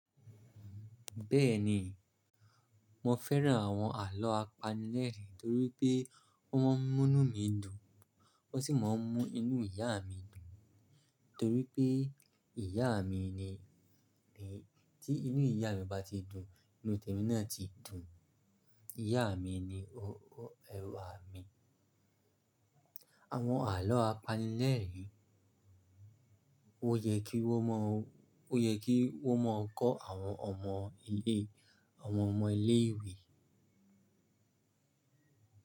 Bẹ́ẹ̀ni, mo fẹ́ràn àwọn àlọ́ apanilẹ́ẹ̀rín, nítorí pé ó moo ń mú inú mi dùn, ó sì máa ń moo ń mú inú ìyá mi dùn. Torí pé ìyá mi ni tí inú ìyá mi bá ti dùn, inú tèmi náà ti dùn. Ìyá mi ni ẹrú à mi. Àwọn àlọ́ apanilẹ́ẹ̀rín ó yẹ kí wọ́n máa kọ́ àwọn ọmọ ilé ìwé.